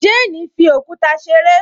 Jane fi òkúta ṣeré